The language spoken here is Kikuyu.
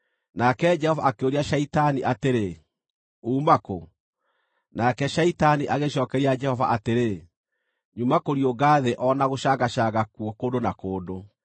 Nake Jehova akĩũria Shaitani atĩrĩ, “Uuma kũ?” Nake Shaitani agĩcookeria Jehova atĩrĩ, “Nyuma kũriũnga thĩ o na gũcangacanga kuo kũndũ na kũndũ.”